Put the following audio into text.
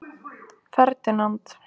Ferdinand